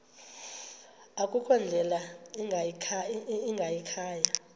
akukho ndlela ingayikhaya